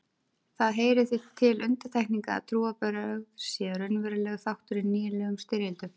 Það heyrir því til undantekninga að trúarbrögð séu raunverulegur þáttur í nýlegum styrjöldum.